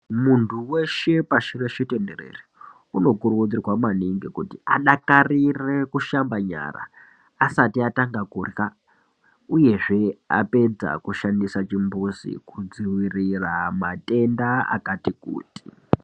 Muntu weshe pashi reshe tenderize unokurudzirwa maningi kuti adakarire kushamba nyara asati atanga kurya uyezve apedza kushandisa chimbuzi kudzivirira matenda akati kuti .